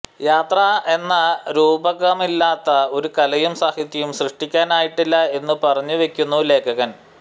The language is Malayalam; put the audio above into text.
യാത്ര എന്ന രൂപകമില്ലാതെ ഒരു കലയും സാഹിത്യവും സൃഷ്ടിക്കാനായിട്ടില്ല എന്നു പറഞ്ഞുവെക്കുന്നു ലേഖകന്